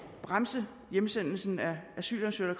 at bremse hjemsendelse af asylansøgere